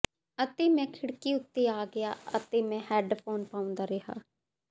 ਅਤੇ ਮੈਂ ਖਿੜਕੀ ਉੱਤੇ ਆ ਗਿਆ ਅਤੇ ਮੈਂ ਹੈੱਡਫੋਨ ਪਾਉਂਦਾ ਰਿਹਾ